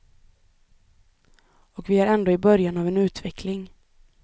Och vi är ändå i början av en utveckling.